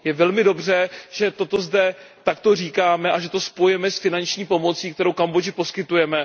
Je velmi dobře, že toto zde takto říkáme a že to spojujeme s finační pomocí, kterou Kambodži poskytujeme.